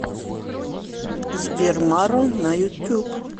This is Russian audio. сбер маро на ютуб